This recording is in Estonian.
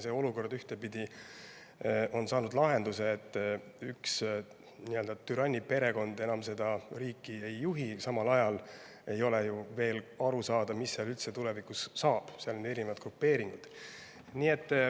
See olukord on ühtepidi saanud lahenduse – üks türanniperekond seda riiki enam ei juhi –, samal ajal ei ole ju veel aru saada, mis seal üldse tulevikus saab, seal on erinevad grupeeringud.